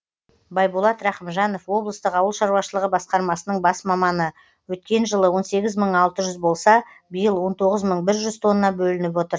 байболат рақымжанов облыстық ауыл шаруашылығы басқармасының бас маманы өткен жылы он сегіз мың алты жүз болса биыл он тоғыз мың бір жүз тонна бөлініп отыр